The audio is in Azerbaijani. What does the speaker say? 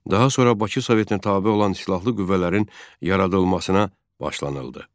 Daha sonra Bakı Sovetinə tabe olan silahlı qüvvələrin yaradılmasına başlanıldı.